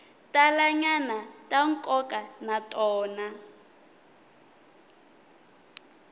talanyana ta nkoka na tona